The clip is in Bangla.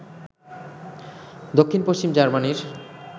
দক্ষিণপশ্চিম জার্মানির